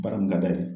Baara mun ka d'a ye